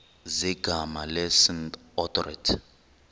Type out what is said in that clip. zegama lesngesn authorit